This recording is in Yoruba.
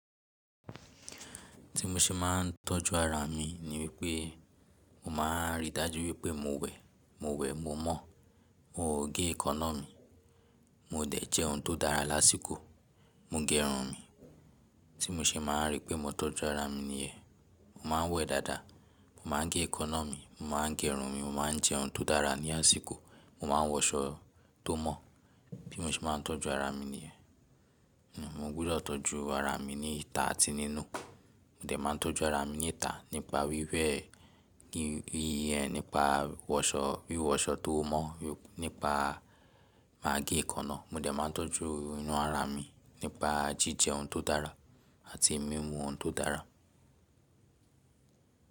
Ti mo se maa n tọju ara mi ni wipe mo máa n rí dájú wípé mo wẹ̀, mo wẹ̀, mo mọ̀, mo ge èékánná mi, mo de jẹ oun to dára lásìkò, mo gerun mi. Ti mo se máa ń rí pé mo to ju ara mi ni yẹn, mo máa ń wẹ̀ dáadáa, mo máa ń gé èékánná mi, mo máa ń gerun mi, mo máa ń jẹ oun to dára ní àsìkò, mo máa ń wọṣọ to mó. Bí mo se ma n tọju ara mi ní yẹn. Mo gbudọ tọju ara mi ní ìta àti nínú. Mo de ma n tọju ara mi ní ìta nípa wíwẹ̀, nípa wíwọṣọ tó mọ́, nípa má gé èékánná. Mo de máa ń tọju inú ara mi nípa jíjẹ oun tó dára àti mímu oun tó dára.